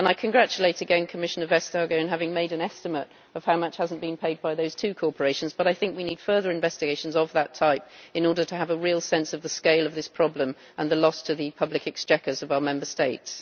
I again congratulate Commissioner Vestager, as she has made an estimate of how much has not been paid by those two corporations, and I think we need further investigations of that type in order to have a real sense of the scale of this problem and the loss to the public exchequers of our Member States.